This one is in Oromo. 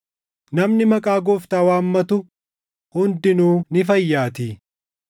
“Namni maqaa Gooftaa waammatu hundinuu ni fayyaatii.” + 10:13 \+xt Yoe 2:32\+xt*